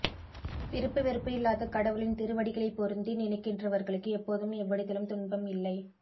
விருப்பு வெறுப்பு இல்லாத கடவுளின் திருவடிகளை பொருந்தி நினைக்கின்றவர்க்கு எப்போதும் எவ்விடத்திலும் துன்பம் இல்லை